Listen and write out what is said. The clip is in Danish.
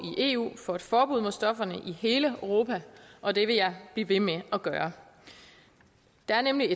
eu for et forbud mod stofferne i hele europa og det vil jeg blive ved med at gøre det er nemlig